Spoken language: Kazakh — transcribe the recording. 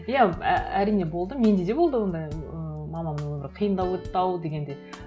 иә әрине болды менде де болды ондай ыыы мамамның өмірі қиындау өтті ау дегендей